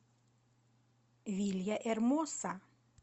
вильяэрмоса